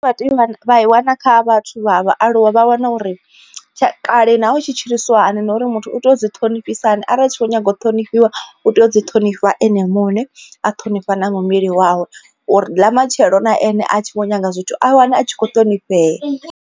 Vha tea u i wana kha vhathu vha vhaaluwa vha wana uri tsha kale naho u tshi tshilisa hani na uri muthu u tea u dzi ṱhonifhisa hani arali u tshi kho nyaga u ṱhonifhiwa u tea u dzi ṱhonifha ene muṋe. A ṱhonifha na muvhili wawe uri ḽa matshelo na ene a tshi vho nyaga zwithu a wane a tshi kho ṱhonifhea.